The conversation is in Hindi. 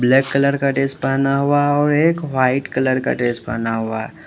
ब्लैक कलर का ड्रेस पहना हुआ और एक व्हाइट कलर का ड्रेस पहना हुआ।